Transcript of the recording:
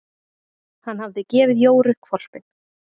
Hann hafði gefið Jóru hvolpinn.